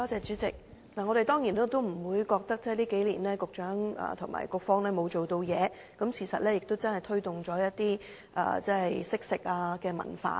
主席，我當然不會認為局長和政策局這幾年沒有做事，事實上政府真正推動了惜食的文化。